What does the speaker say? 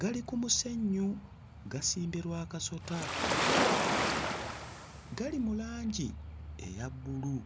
gali ku musenyu gasimbye lwakasota; gali mu langi eya bbulu.